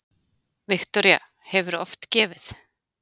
Viktoría: Hefurðu oft gefið?